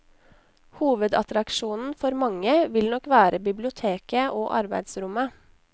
Hovedattraksjonen for mange vil nok være biblioteket og arbeidsrommet.